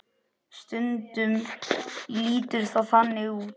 Stundum lítur það þannig út.